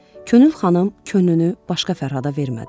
Könül xanım könlünü başqa Fərhada vermədi.